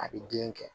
A bɛ den kɛ